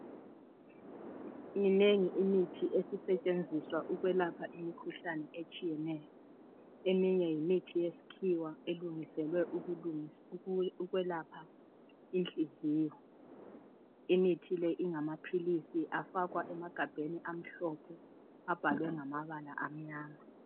Minengi imithi esisetshenziswa ukwelapha imikhuhlane etshiyeneyo. Eminye yimithi yesikhiwa elungiselwe ukwelapha inhliziyo. Imithi le ingamaphilisi afakwa emagabheni amhlophe abhalwe ngamabala amnyama.